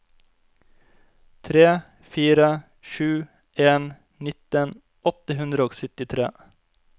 tre fire sju en nitten åtte hundre og syttitre